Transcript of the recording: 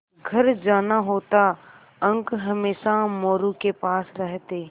घर जाना होता अंक हमेशा मोरू के पास रहते